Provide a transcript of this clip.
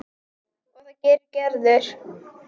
Og það gerir Gerður.